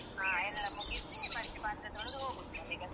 ಹ ಎಲ್ಲ ಮುಗಿಸಿ ಮತ್ತೆ ಪಾತ್ರೆ ತೋಳ್ದು ಹೋಗುದು ಮನೆಗೆ ಅಷ್ಟೆ.